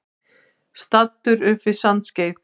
Staddur upp við Sandskeið.